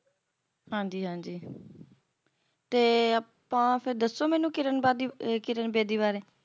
ਹਾਂਜੀ ਹਾਂਜੀ ਤੇ ਫੇਰ ਆਪਾ ਫੇਰ ਦੱਸੋ ਮੈਨੂੰ ਕਿਰਨ ਬਾਦੀ ਅਹ ਕਿਰਨ ਬੇਦੀ ਬਾਰੇ